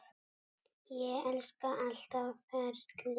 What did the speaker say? Ég elska allt ferlið.